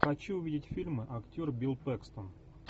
хочу увидеть фильмы актер билл пэкстон